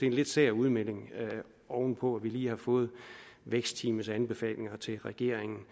en lidt sær udmelding oven på at vi lige har fået vækstteamets anbefalinger til regeringen